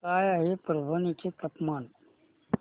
काय आहे परभणी चे तापमान